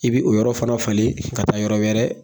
I bi o yɔrɔ fana falen ka taa yɔrɔ wɛrɛ